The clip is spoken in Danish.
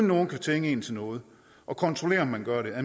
nogen kan tvinge en til noget og kontrollere at man gør det og